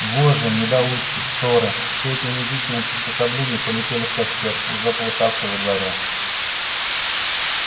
вожжи недоуздки шоры все эти унизительные приспособления полетели в костёр уже полыхавший во дворе